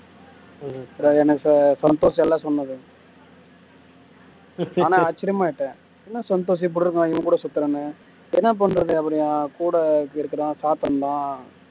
எனக்கு சந்தோஷ் எல்லாம் சொன்னது ஆனால் ஆச்சரியமா ஆயிட்டேன் என்ன சந்தோஷம் இப்படி இருக்கான் இவன் கூட சுத்துறான்னு என்ன பண்றது அப்படி அவன் கூட இருக்கிறான்